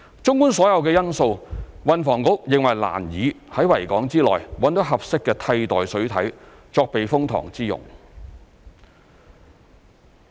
綜觀所有因素，運房局認為難以在維多利亞港之內找到合適的替代水體作避風塘之用。